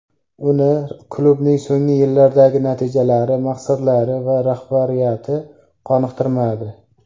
Uni klubning so‘nggi yillardagi natijalari, maqsadlari va rahbariyati qoniqtirmadi.